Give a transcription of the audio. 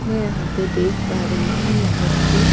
मैं यहां पे देख पा रही हूं यहां पे--